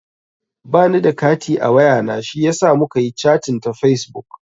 Ba ni da kati a wayana shiyasa muka yi chating ta fesbuk.